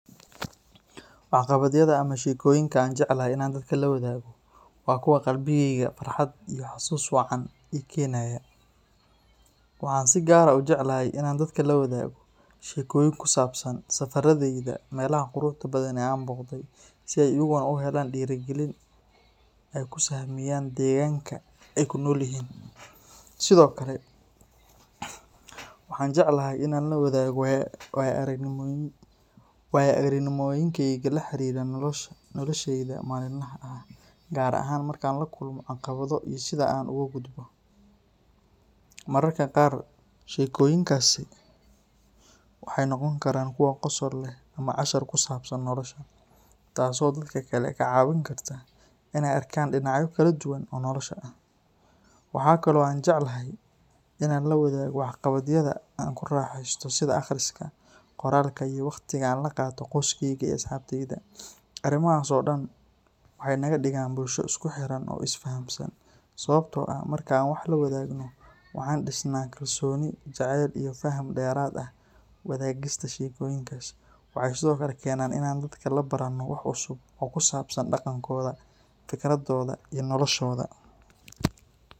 Waxqabadyada ama sheekooyinka aan jecelahay in aan dadka la wadaago waa kuwa qalbigayga farxad iyo xasuus wacan ii keenaya. Waxaan si gaar ah u jeclahay in aan dadka la wadaago sheekooyin ku saabsan safarradayda meelaha quruxda badan ee aan booqday, si ay iyaguna u helaan dhiirigelin ay ku sahamiyaan deegaanka ay ku nool yihiin. Sidoo kale, waxaan jeclahay in aan la wadaago waayo-aragnimooyinkayga la xiriira noloshayda maalinlaha ah, gaar ahaan markaan la kulmo caqabado iyo sida aan uga gudbo. Mararka qaar, sheekooyinkaasi waxay noqon karaan kuwo qosol leh ama cashar ku saabsan nolosha, taasoo dadka kale ka caawin karta in ay arkaan dhinacyo kala duwan oo nolosha ah. Waxa kale oo aan jecelahay in aan la wadaago waxqabadyada aan ku raaxeysto sida akhriska, qoraalka, iyo waqtiga aan la qaato qoyskeyga iyo asxaabteyda. Arrimahaas oo dhan waxay naga dhigaan bulsho isku xiran oo is fahamsan, sababtoo ah marka aan wax la wadaagno, waxaan dhisnaa kalsooni, jacayl, iyo faham dheeraad ah. Wadaagista sheekooyinkaas waxay sidoo kale keenaan in aan dadka ka barano wax cusub oo ku saabsan dhaqankooda, fikirradooda, iyo noloshooda.